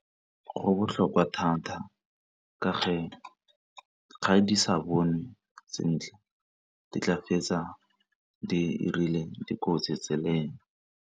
Go botlhokwa thata ka ga di sa bonwe sentle di tla fetsa dirile dikotsi tseleng.